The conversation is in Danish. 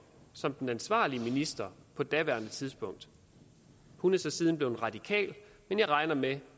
som den ansvarlige minister på daværende tidspunkt hun er så siden blevet radikal men jeg regner med